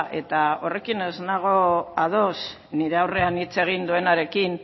eta horrekin ez nago ados nire aurrean hitz egin duenarekin